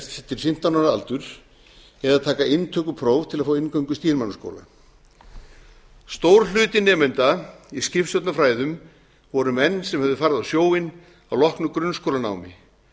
eftir fimmtán ára aldur eða taka inntökupróf til að fá inngöngu í stýrimannaskóla stór hluti nemenda í skipstjórnarfræðum voru menn sem höfðu farið á sjóinn að loknu grunnskólanámi